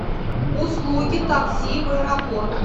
услуги такси в аэропорт